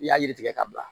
I y'a yiri tigɛ ka bila